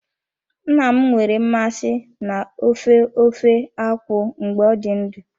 Nna m nwere mmasị na ofe ofe akwụ mgbe ọ dị ndụ.